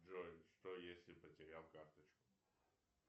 джой что если потерял карточку